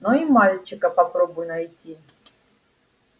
но и мальчика попробуй найти